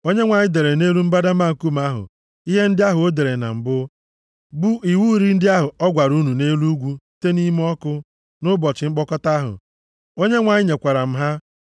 Onyenwe anyị dere nʼelu mbadamba nkume ahụ ihe ndị ahụ o dere na mbụ, bụ iwu iri ndị ahụ o gwara unu nʼelu ugwu site nʼime ọkụ, nʼụbọchị mkpọkọta ahụ. Onyenwe anyị nyekwara m ha.